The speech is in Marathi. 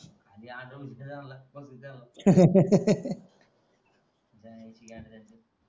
खाली आंदळ त्यांना त्यांच्या आई ची गांड त्यांच्या